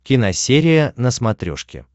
киносерия на смотрешке